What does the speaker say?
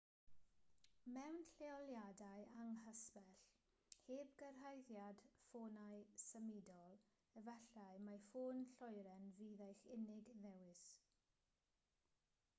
mewn lleoliadau anghysbell heb gyrhaeddiad ffonau symudol efallai mai ffôn lloeren fydd eich unig ddewis